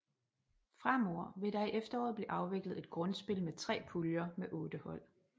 Fremover vil der i efteråret blive afviklet et grundspil med 3 puljer med 8 hold